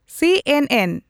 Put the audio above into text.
ᱥᱤ ᱹ ᱮᱱ ᱹ ᱮᱱ